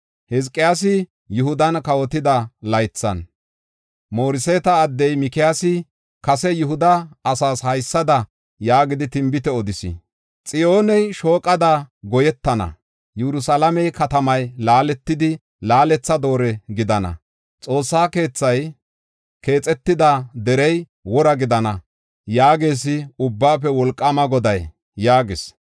“Hizqiyaasi Yihudan kawotida laythan Mooreseeta addey Mikiyaasi kase Yihuda asaas haysada yaagidi, tinbite odis: ‘Xiyooney shooqada goyetana. Yerusalaame katamay laaletidi, laaletha doore gidana. Xoossa keethay keexetida derey wora gidana’ yaagees Ubbaafe Wolqaama Goday” yaagis.